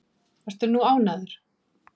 Ertu nú ánægður?